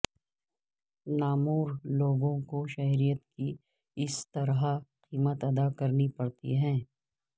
نامور لوگوں کو شہرت کی اس طرح قیمت ادا کرنی پڑتی ہے